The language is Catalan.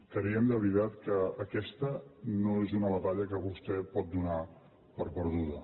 creiem de veritat que aquesta no és una batalla que vostè pot donar per perduda